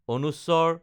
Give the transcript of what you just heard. ং